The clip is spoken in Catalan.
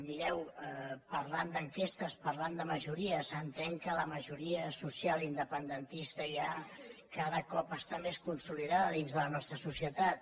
mireu parlant d’enquestes parlant de majories s’entén que la majoria social independentista ja cada cop està més consolidada dins la nostra societat